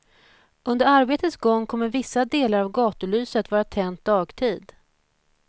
Under arbetets gång kommer vissa delar av gatulyset vara tänt dagtid.